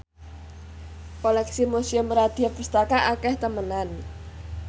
koleksi Museum Radya Pustaka akeh temenan